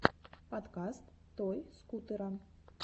подкаст той скутера